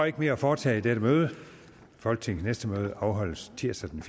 ikke mere at foretage i dette møde folketingets næste møde afholdes tirsdag den